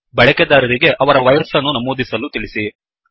ಬಳಕೆದಾರರಿಗೆ ಅವರ ವಯಸ್ಸನ್ನು ನಮೂದಿಸಲು ತಿಳಿಸಿ